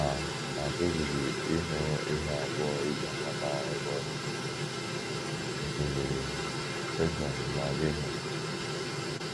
A A pụghịzi ịhụ ihe abụọ e ji amata ebe ọ dị — osimiri Paịshọn na Gaịhọn.